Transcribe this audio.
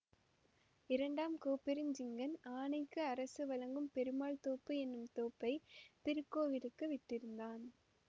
இரண்டாம் கோப்பெருஞ்சிங்கன் ஆனைக்கு அரசு வழங்கும் பெருமாள்தோப்பு என்னும் தோப்பைத் திருக்கோயிலுக்கு விட்டிருந்தான்